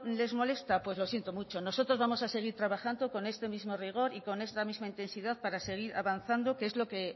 les molesta pues lo siento mucho nosotros vamos a seguir trabajando con este mismo rigor y con esta misma intensidad para seguir avanzado que es